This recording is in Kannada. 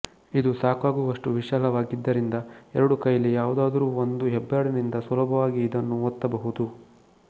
ಇದು ಸಾಕಾಗುವಷ್ಟು ವಿಶಾಲವಾಗಿದ್ದರಿಂದ ಎರಡು ಕೈಯಲ್ಲಿ ಯಾವುದಾದರೂ ಒಂದು ಹೆಬ್ಬರಳಿನಿಂದ ಸುಲಭವಾಗಿ ಇದನ್ನು ಒತ್ತಬಹುದು